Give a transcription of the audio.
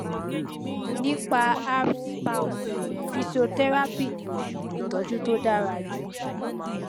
nípa erbs palsy fíṣíọtẹrápì ni oṣuwọn ìtọjú tó dára jù